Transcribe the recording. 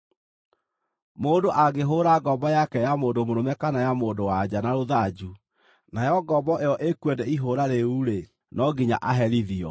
“Mũndũ angĩhũũra ngombo yake ya mũndũ mũrũme kana ya mũndũ-wa-nja na rũthanju, nayo ngombo ĩyo ĩkue nĩ ihũũra rĩu-rĩ, no nginya aherithio,